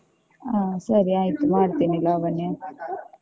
ಆ ಸರಿ ಆಯ್ತು ಮಾಡ್ತೀನಿ ಲಾವಣ್ಯ.